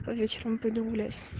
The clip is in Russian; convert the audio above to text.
вечером пойду гулять